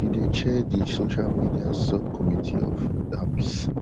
e dey chair di social media sub committee of asps